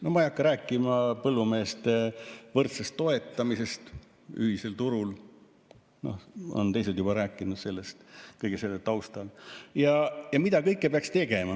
No ma ei hakka rääkima põllumeeste võrdsest toetamisest ühisel turul, sellest on teised juba rääkinud kõige selle taustal, ja mida kõike peaks tegema.